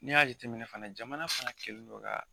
N'i y'a jateminɛ fana jamana fana kɛlen dɔ ka.